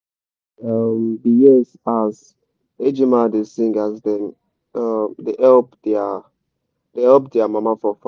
i um been hear as ejima da sing as dem um da help dia da help dia mama for farm